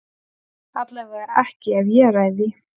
Allavega ekki ef ég ræð því.